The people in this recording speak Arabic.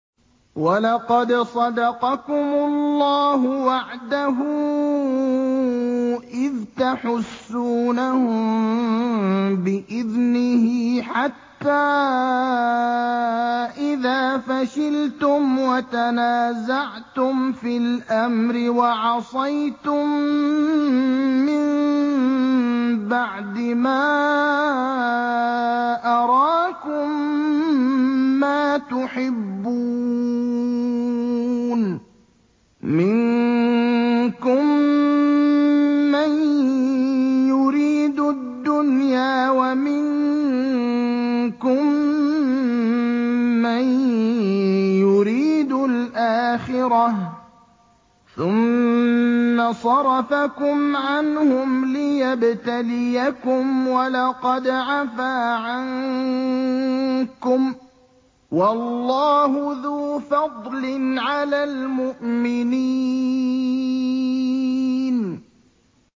وَلَقَدْ صَدَقَكُمُ اللَّهُ وَعْدَهُ إِذْ تَحُسُّونَهُم بِإِذْنِهِ ۖ حَتَّىٰ إِذَا فَشِلْتُمْ وَتَنَازَعْتُمْ فِي الْأَمْرِ وَعَصَيْتُم مِّن بَعْدِ مَا أَرَاكُم مَّا تُحِبُّونَ ۚ مِنكُم مَّن يُرِيدُ الدُّنْيَا وَمِنكُم مَّن يُرِيدُ الْآخِرَةَ ۚ ثُمَّ صَرَفَكُمْ عَنْهُمْ لِيَبْتَلِيَكُمْ ۖ وَلَقَدْ عَفَا عَنكُمْ ۗ وَاللَّهُ ذُو فَضْلٍ عَلَى الْمُؤْمِنِينَ